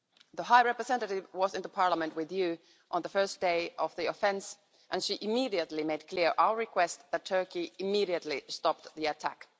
The High Representative was in the Parliament with you on the first day of the offensive and she immediately made clear our request that Turkey immediately stop the attack.